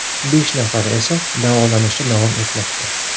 Besh nafari esa davolanishda davom etmoqda.